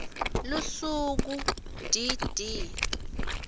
lusuku d d